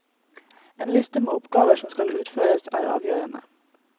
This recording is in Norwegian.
En liste med oppgaver som skal utføres er avgjørende.